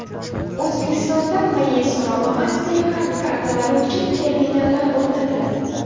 O‘zbekistonda Maestro va MasterCard kartalari uchun terminallar o‘rnatiladi.